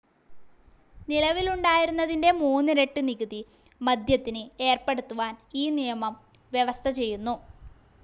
നിലവിലുണ്ടായിരുന്നതിന്റെ മൂന്നിരട്ടി നികുതി മദ്യത്തിന് ഏർപ്പെടുത്തുവാൻ ഈ നിയമം വ്യവസ്ഥ ചെയ്യുന്നു.